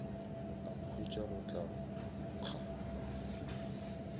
a nkhwetša go tla nkga